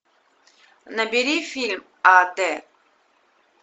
набери фильм а д